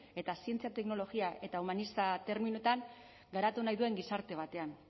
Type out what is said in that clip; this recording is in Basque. eta zientzia teknologia eta humanista terminoetan garatu nahi duen gizarte batean